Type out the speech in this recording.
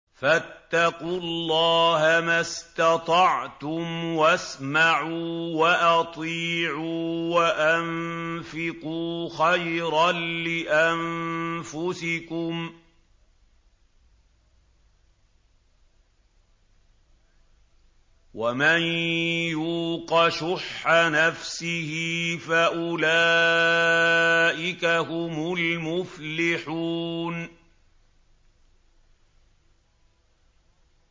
فَاتَّقُوا اللَّهَ مَا اسْتَطَعْتُمْ وَاسْمَعُوا وَأَطِيعُوا وَأَنفِقُوا خَيْرًا لِّأَنفُسِكُمْ ۗ وَمَن يُوقَ شُحَّ نَفْسِهِ فَأُولَٰئِكَ هُمُ الْمُفْلِحُونَ